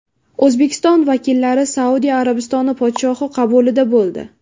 O‘zbekiston vakillari Saudiya Arabistoni podshohi qabulida bo‘ldi.